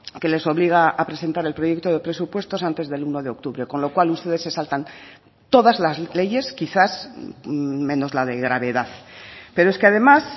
que les obliga a presentar el proyecto de presupuestos antes del uno de octubre con lo cual ustedes se saltan todas las leyes quizás menos la de gravedad pero es que además